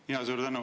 Suur tänu!